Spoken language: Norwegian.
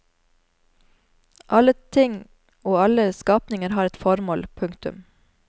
Alle ting og alle skapninger har et formål. punktum